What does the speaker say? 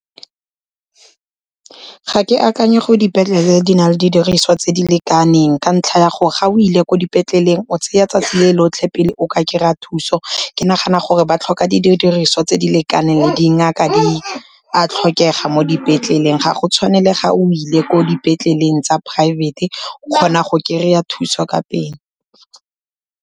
Ga ke akanye gore dipetlele di na le di diriswa tse di lekaneng ka ntlha ya gore, ga o ile ko dipetleleng o tseya 'tsatsi le lotlhe pele o ka kry-a thuso. Ke nagana gore ba tlhoka didiriswa tse di lekaneng, dingaka di a tlhokega mo dipetleleng, ga go tshwane le ga o ile ko dipetleleng tsa poraefete o kgona go kry-a thuso ka pele.